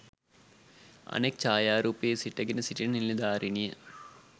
අනෙක් ජායාරූපයේ සිටගෙන සිටින නිලධාරිනිය